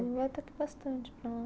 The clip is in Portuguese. Eu vou até que bastante para lá.